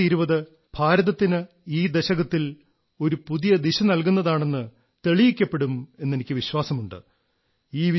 2020 ഭാരതത്തിന് ഈ ദശകത്തിൽ ഒരു പുതിയ ദിശനല്കുന്നതാണെന്ന് തെളിയിക്കപ്പെടും എന്നെനിക്ക് വിശ്വാസമുണ്ട്